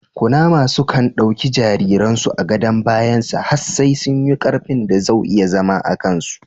Kunama sukan ɗauki jariren su a gadon bayan sa has sai sun yi karfin da zau iya zama akan su